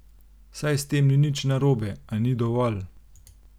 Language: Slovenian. Saj s tem ni nič narobe, a ni dovolj.